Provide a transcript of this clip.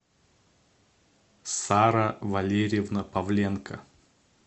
сара валерьевна павленко